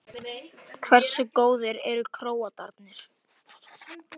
Fljótlega skarst húsvörðurinn í leikinn og vísaði okkur á dyr.